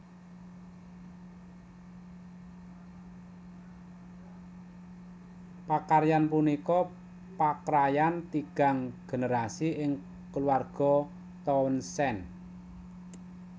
Pakaryan punika pakrayan tigang generasi ing kulawarga Townsend